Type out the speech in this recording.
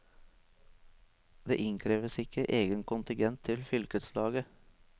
Det innkreves ikke egen kontingent til fylkeslaget.